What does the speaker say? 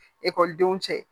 Ekɔlidenw cɛ